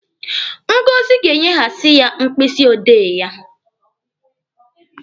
Ngọzi ga-enyehasi ya mkpịsị odee ya.